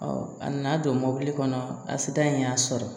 a nana don mɔbili kɔnɔ a sitan in y'a sɔrɔ